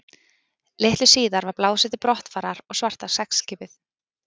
Litlu síðar var blásið til brottfarar og svarta seglskipið